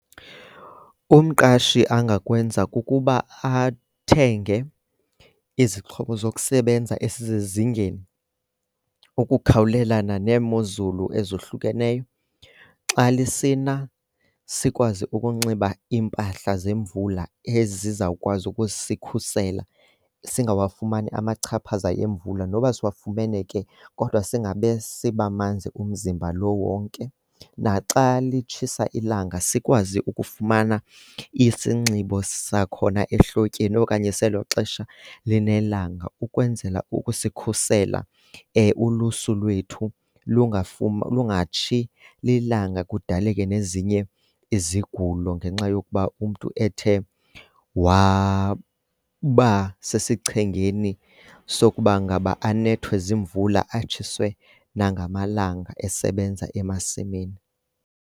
Umqashi angakwenza kukuba athenge izixhobo zokusebenza ezisezingeni ukukhawulelana neemozulu ezohlukeneyo. Xa lisina sikwazi ukunxiba iimpahla zemvula ezizawukwazi ukusikhusela singawafumani amachaphaza emvula. Noba siwafumene ke kodwa singabe sibamanzi umzimba lo wonke. Naxa litshisa ilanga sikwazi ukufumana isinxibo sakhona ehlotyeni okanye selo xesha linelanga ukwenzela ukusikhusela. Ulusu lwethu lungatshi lilanga kudaleke nezinye izigulo ngenxa yokuba umntu ethe wabasesichengeni sokuba ngaba anethwe ziimvula atshiswe nangamalanga esebenza emasimini.